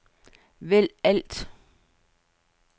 vælg alt